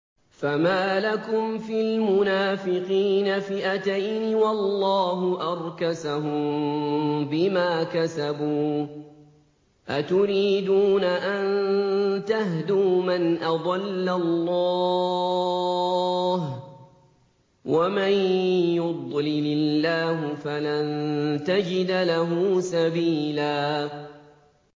۞ فَمَا لَكُمْ فِي الْمُنَافِقِينَ فِئَتَيْنِ وَاللَّهُ أَرْكَسَهُم بِمَا كَسَبُوا ۚ أَتُرِيدُونَ أَن تَهْدُوا مَنْ أَضَلَّ اللَّهُ ۖ وَمَن يُضْلِلِ اللَّهُ فَلَن تَجِدَ لَهُ سَبِيلًا